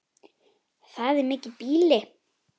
Það er mikið býli.